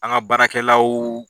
An ka baarakɛlaw.